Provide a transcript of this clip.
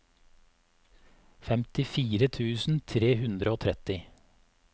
femtifire tusen tre hundre og tretti